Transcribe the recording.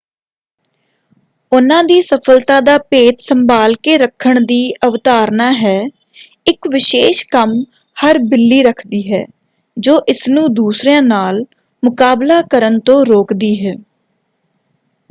ਉਨ੍ਹਾਂ ਦੀ ਸਫ਼ਲਤਾ ਦਾ ਭੇਤ ਸੰਭਾਲ ਕੇ ਰੱਖਣ ਦੀ ਅਵਧਾਰਨਾ ਹੈ ਇਕ ਵਿਸ਼ੇਸ਼ ਕੰਮ ਹਰ ਬਿੱਲੀ ਰੱਖਦੀ ਹੈ ਜੋ ਇਸਨੂੰ ਦੂਸਰਿਆਂ ਨਾਲ ਮੁਕਾਬਲਾ ਕਰਨ ਤੋਂ ਰੋਕਦੀ ਹੈ।